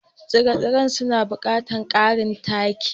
Tsire-tsiren suna buƙatar ƙarin taki.